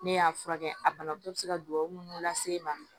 Ne y'a furakɛ a banabaatɔ be se ka duwawu lase e ma